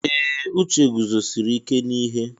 Ee! Uche guzosiri ike n'ihe.